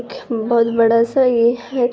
ख बोहत बड़ा-सा ये है।